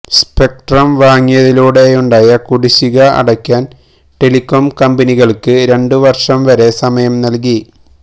spectrum വാങ്ങിയതിലൂടെയുണ്ടായ കുടിശ്ശിക അടയ്ക്കാന് ടെലികോം കമ്പനികള്ക്ക് രണ്ടു വര്ഷം വരെ സമയം നല്കി